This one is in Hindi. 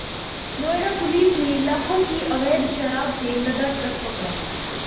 नोएडा पुलिस ने लाखों की अवैध शराब से लदा ट्रक पकड़ा